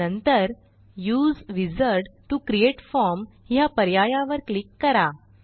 नंतर उसे wizard to create form ह्या पर्यायावर क्लिक करा